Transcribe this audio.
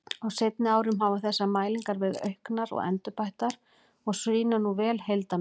Á seinni árum hafa þessar mælingar verið auknar og endurbættar og sýna nú vel heildarmynd.